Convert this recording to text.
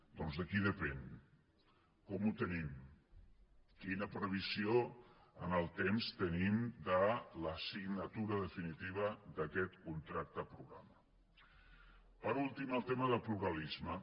doncs de qui depèn com ho tenim quina previsió en el temps tenim de la signatura definitiva d’aquest contracte programa per últim el tema del pluralisme